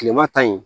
Kilema ta ye